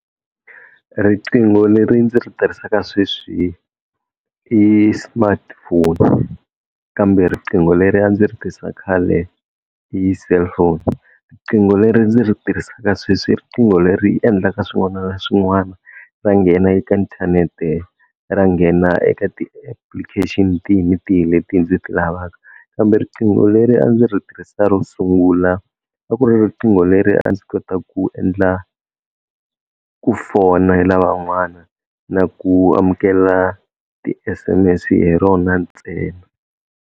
Riqingho leri ndzi ri tirhisaka sweswi i smartphone, kambe riqingho leri a ndzi ri tisa khale i cellphone. Riqingho leri ndzi ri tirhisaka sweswi i riqingho leri endlaka swin'wana na swin'wana, ra nghena eka inthanete, ra nghena eka ti-application tihi ni tihi leti ndzi ti lavaka, kambe riqingho leri a ndzi ri tirhisa ro sungula a ku ri riqingho leri a ndzi kota ku endla ku fonayila van'wana na ku amukela ti-S_M_S hi rona ntsena.